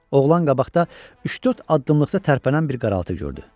Oğlan qabaqda üç-dörd addımlıqda tərpənən bir qaraltı gördü.